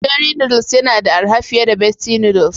Cherry noodles yana da araha fiye da besti noodle.